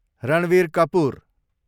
Ranveer Kapoor